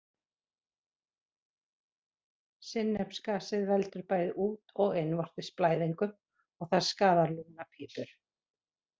Sinnepsgasið veldur bæði út- og innvortis blæðingum og það skaðar lungnapípur.